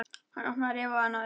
Hann opnaði rifu á annað augað.